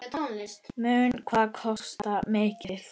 Mun hann kosta mikið?